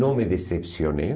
Não me decepcionei.